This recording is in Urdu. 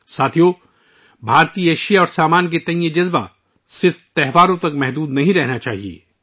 ساتھیو، بھارتی مصنوعات کے تئیں یہ جذبہ صرف تہواروں تک محدود نہیں ہونا چاہیے